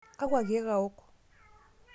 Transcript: Kakua keek awok?